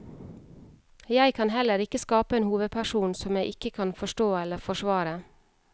Jeg kan heller ikke skape en hovedperson som jeg ikke kan forstå eller forsvare.